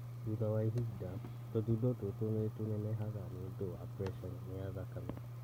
Thutha wa ihinda, tũthundo tũtũ nĩtũnenehaga nĩũndũ wa preca nene ya thakame